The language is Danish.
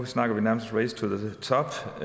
snakker vi nærmest race to